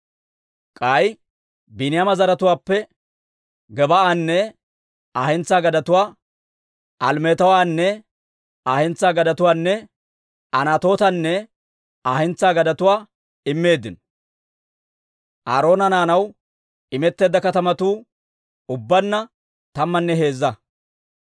K'ay Biiniyaama zaratuwaappe Gebaa'anne Aa hentsaa gadetuwaa, Alemetanne Aa hentsaa gadetuwaanne Anatootanne Aa hentsaa gadetuwaa immeeddino. Aaroona naanaw imetteedda katamatuu ubbaanna tammanne heezza.